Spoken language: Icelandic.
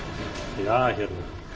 ja hérna